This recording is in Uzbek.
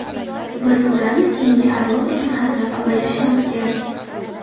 Biz ularni keyingi avlod uchun asrab-avaylashimiz kerak”.